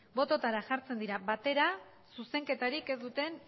bototara jartzen dira batera zuzenketarik ez duten